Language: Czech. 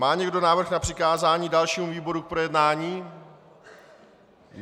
Má někdo návrh na přikázání dalšímu výboru k projednání?